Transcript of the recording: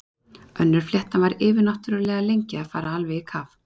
Önnur fléttan var yfirnáttúrlega lengi að fara alveg í kaf.